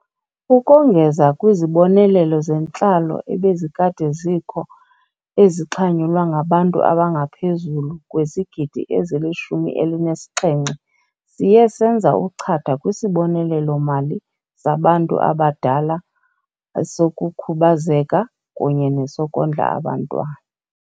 Ukongeza kwizibonelelo zentlalo ebezikade zikho, ezixhanyulwa ngabantu abangaphezulu kwezigidi ezili-17, siye senza uchatha kwiSibonelelo-mali saBantu Abadala, esokuKhubazeka kunye nesoKondla aBantwana.